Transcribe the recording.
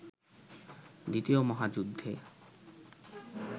দ্বিতীয় মহাযুদ্ধে